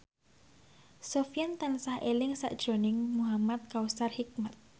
Sofyan tansah eling sakjroning Muhamad Kautsar Hikmat